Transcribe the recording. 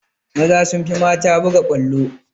Maza sun fi mata buga ƙwallo